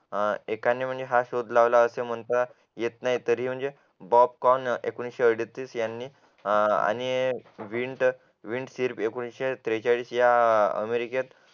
माझं पण तेच आहे एकाने म्हणजे हा शोध लावलं असं म्हणतात येत नाही म्हणजे तरी म्हणजे पॉपकॉर्न एकोणविशे अडोतीस यांनी आणि विंटर एकोणविशे त्रेचाळीस या अमेरिकेत